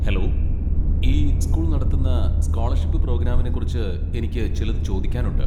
Hello, ഈ school നടത്തുന്ന scholarship പ്രോഗ്രാമിനെക്കുറിച്ച് എനിക്ക് ചിലത് ചോദിക്കാനുണ്ട്.